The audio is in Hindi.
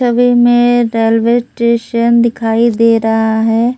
छवि में रेलवे स्टेशन दिखाई दे रहा है।